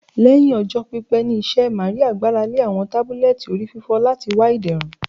Lẹhin ọjọ pipẹ ni iṣẹ, Maria gbarale awọn tabulẹti orififo lati wa iderun